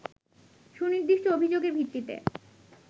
সুনির্দিষ্ট অভিযোগের ভিত্তিতে